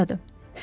O burdadır.